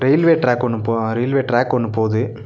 Railway track ஒன்னு போ அ ரெயில்வே ட்ரேக் ஒன்னு போது.